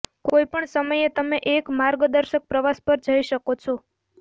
કોઈપણ સમયે તમે એક માર્ગદર્શક પ્રવાસ પર જઈ શકો છો